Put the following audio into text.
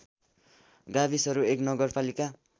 गाविसहरू १ नगरपालिका